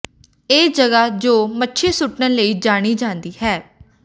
ਇਹ ਜਗ੍ਹਾ ਜੋ ਮੱਛੀ ਸੁੱਟਣ ਲਈ ਜਾਣੀ ਜਾਂਦੀ ਹੈ